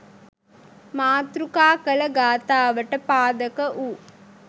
මාතෘකා කළ ගාථාවට පාදක වූ